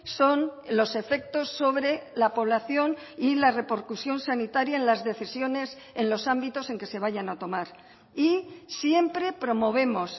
son los efectos sobre la población y la repercusión sanitaria en las decisiones en los ámbitos en que se vayan a tomar y siempre promovemos